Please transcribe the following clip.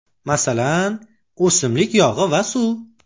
Masalan, o‘simlik yog‘i va suv.